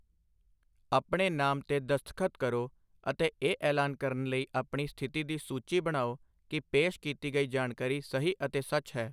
ਆਪਣੇ ਨਾਮ 'ਤੇ ਦਸਤਖਤ ਕਰੋ ਅਤੇ ਇਹ ਐਲਾਨ ਕਰਨ ਲਈ ਆਪਣੀ ਸਥਿਤੀ ਦੀ ਸੂਚੀ ਬਣਾਓ ਕਿ ਪੇਸ਼ ਕੀਤੀ ਗਈ ਜਾਣਕਾਰੀ ਸਹੀ ਅਤੇ ਸੱਚ ਹੈ।